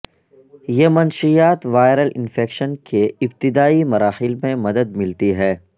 یہ منشیات viral infection کے ابتدائی مراحل میں مدد ملتی ہے